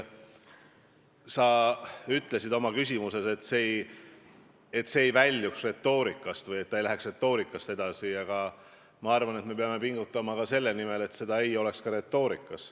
Sa ütlesid oma küsimuses, et see ei tohiks väljuda retoorikast või minna retoorikast edasi, aga mina arvan, et me peame pingutama ka selle nimel, et seda ei oleks ka retoorikas.